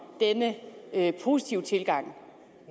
denne positive tilgang